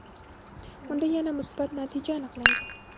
unda yana musbat natija aniqlangan.